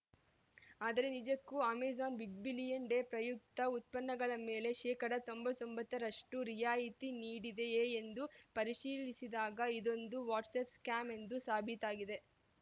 ಆದರೆ ನಿಜಕ್ಕೂ Amazon big billion day ಪ್ರಯುಕ್ತ ಉತ್ಪನ್ನಗಳ ಮೇಲೆ ಶೇಕಡಾ ತೊಂಬತ್ತೊಂಬತ್ತರಷ್ಟು ರಿಯಾಯಿತಿ ನೀಡಿದೆಯೇ ಎಂದು ಪರಿಶೀಲಿಸಿದಾಗ ಇದೊಂದು ವಾಟ್ಸ್‌ಆ್ಯಪ್‌ ಸ್ಕ್ಯಾಮ್ ಎಂದು ಸಾಬೀತಾಗಿದೆ